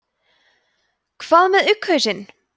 hvað með ugghausinn